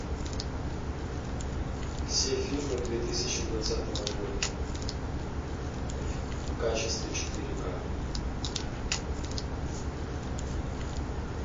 все фильмы две тысячи двадцатого года в качестве четыре ка